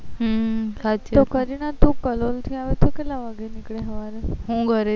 હ સાચી વાત તો કરીના તું કલોલ થી આવે છે તે કેટલા વાગે નીકળે સવારે હું